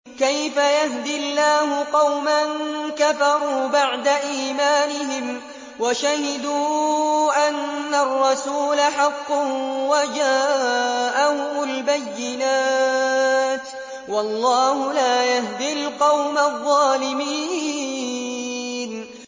كَيْفَ يَهْدِي اللَّهُ قَوْمًا كَفَرُوا بَعْدَ إِيمَانِهِمْ وَشَهِدُوا أَنَّ الرَّسُولَ حَقٌّ وَجَاءَهُمُ الْبَيِّنَاتُ ۚ وَاللَّهُ لَا يَهْدِي الْقَوْمَ الظَّالِمِينَ